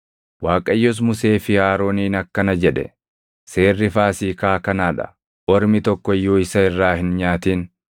Waaqayyos Musee fi Arooniin akkana jedhe; “Seerri Faasiikaa kanaa dha: “Ormi tokko iyyuu isa irraa hin nyaatin.